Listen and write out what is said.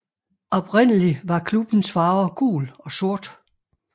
Oprindelig var klubbens farver gul og sort